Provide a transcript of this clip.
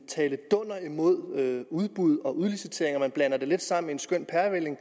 tale dunder imod udbud og udlicitering og man blander det lidt sammen i en skøn pærevælling